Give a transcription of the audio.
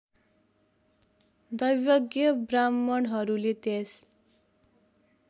दैवज्ञ ब्राह्मणहरूले त्यस